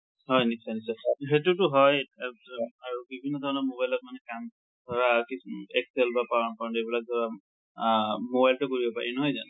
হয় নিশ্চয়, নিশ্চয় , সেইতোটু হয়ে। এব এব আৰু বিভিন্ন ধৰনৰ mobileত মানে কাম, ধৰা কিছু উম excel বা power point সেইবিলাক টো mobileঅত ও কৰিব পাৰি, নহয় জানো?